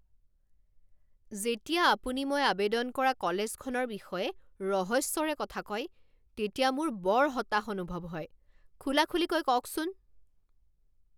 যেতিয়া আপুনি মই আৱেদন কৰা কলেজখনৰ বিষয়ে ৰহস্যৰে কথা কয় তেতিয়া মোৰ বৰ হতাশ অনুভৱ হয়। খুলাখুলিকৈ কওকচোন